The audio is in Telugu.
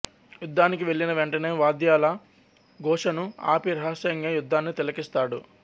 యుద్ధానికి వెళ్ళిన వెంటనే వాద్యాల ఘోషను ఆపి రహస్యంగా యుద్ధాన్ని తిలకిస్తాడు